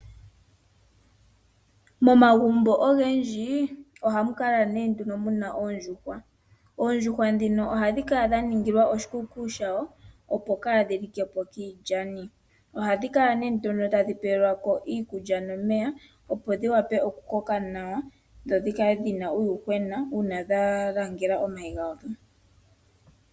Momagumbo ogendji ohamu kala muna oondjuhwa , oondjuhwa ndhino ohadhi kala moshikuku shayo opo kaadhi likeko kiilyani . Ohadhi kala tadhi pelwako iikulya nomeya opo dhiwape okukoka nawa dho dhi kale dhina uuyuhwena uuna dhayangela omayi gadho.